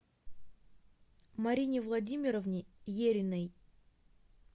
марине владимировне ериной